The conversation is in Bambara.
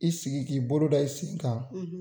I sigi k'i bolo da i sen kan